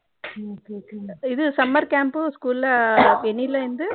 இது Summer Camp school எண்ணைல இருந்து